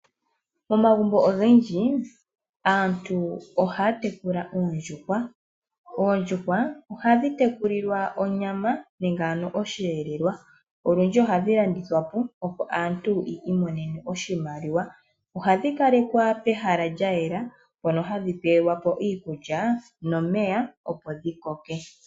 Momagumbo ogendji aantu oha ya tekula oondjuhwa. Oondjuhwa ohadhi teku lilwa onyama nenge ano oshelelwa nolundji ohadhi landithwapo opo aantu yi imonene oshimaliwa, ohadhi kalekwa pehala lya yela mpono hadhi pelwapo iikulya nomeya opo dhi koke.